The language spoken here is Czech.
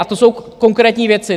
A to jsou konkrétní věci.